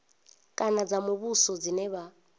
kana dza muvhuso dzine vha